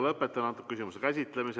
Lõpetan selle küsimuse käsitlemise.